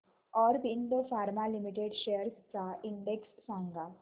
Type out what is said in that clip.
Aurobindo pharma limited shares चा index सांगा